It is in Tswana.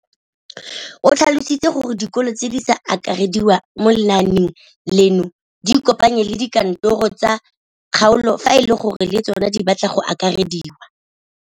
O tlhalositse gore dikolo tse di sa akarediwang mo lenaaneng leno di ikopanye le dikantoro tsa kgaolo fa e le gore le tsona di batla go akarediwa.